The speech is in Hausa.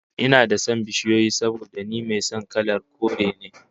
Ina da son bishiyoyi saboda ni mai son kalar kore ne